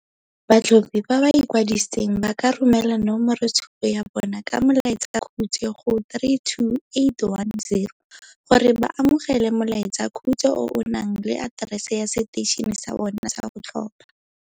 Batlhophi ba ba ikwadisitseng ba ka romela nomoroitshupo ya bona ka molaetsakhutswe go 32810 gore ba amogele molaetsakhutswe o o na leng aterese ya seteišene sa bona sa go tlhopha.